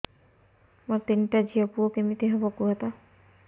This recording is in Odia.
ମୋର ତିନିଟା ଝିଅ ପୁଅ କେମିତି ହବ କୁହତ